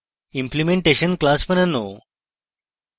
implementation class বানানো এবং